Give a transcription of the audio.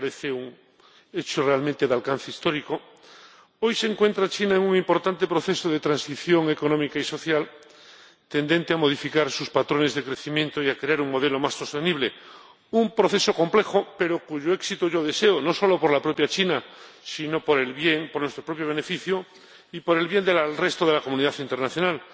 Me parece un hecho realmente de alcance histórico. Hoy China se encuentra en un importante proceso de transición económica y social, tendente a modificar sus patrones de crecimiento y a crear un modelo más sostenible, un proceso complejo, pero cuyo éxito yo deseo, no solo por la propia China, sino por nuestro propio beneficio y por el bien del resto de la comunidad internacional.